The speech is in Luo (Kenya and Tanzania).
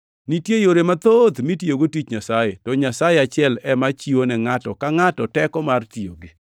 Nitie yore mathoth mitiyogo tich Nyasaye, to Nyasaye achiel ema chiwone ngʼato ka ngʼato teko mar tiyogi.